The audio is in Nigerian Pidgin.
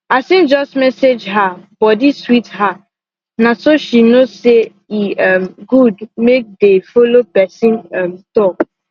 as him just message her body sweet her na so she know say e um good make dey follow person um talk